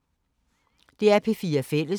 DR P4 Fælles